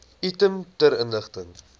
item ter inligting